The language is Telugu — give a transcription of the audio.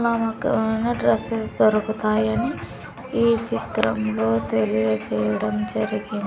నా మొకాన డ్రెస్ వేస్తారు ఒకాయన్ని ఈ చిత్రం లో తెలియజేయడం జరిగిన్ --